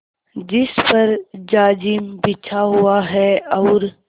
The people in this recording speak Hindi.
जिस पर जाजिम बिछा हुआ है और